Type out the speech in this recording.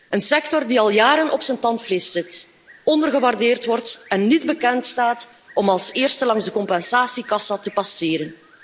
Een sector die al jaren op zijn tandvlees zit, ondergewaardeerd wordt en niet bekendstaat om als eerste langs de compensatiekassa te passeren.